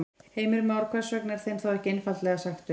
Heimir Már: Hvers vegna er þeim þá ekki einfaldlega sagt upp?